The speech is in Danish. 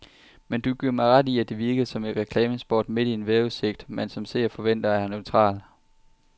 Men giver du mig ret i, at det virkede som et reklamespot midt i en vejrudsigt, man som seer forventer er neutral.